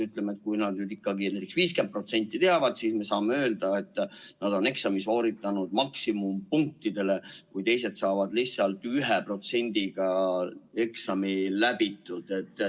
Ütleme, kui nad nüüd ikkagi näiteks 50% teavad, siis me saame öelda, et nad on eksami sooritanud maksimumpunktidele, kui teised saavad lihtsalt 1%-ga eksami läbitud.